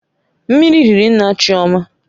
Mmiri riri nna Chioma